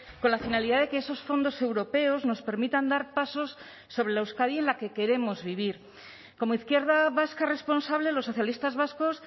con la finalidad de que esos fondos europeos nos permitan dar pasos sobre la euskadi en la que queremos vivir como izquierda vasca responsable los socialistas vascos